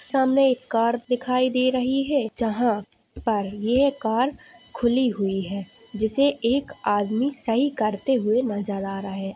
सामने एक कार दिखाई दे रही है जहां पर ये कार खुली हुई है जिसे एक का आदमी सही करते हुए नजर आ रहा है।